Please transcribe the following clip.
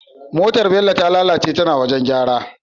Motar bello ta lalace tana gareji